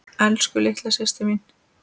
Elsku litla systir mín.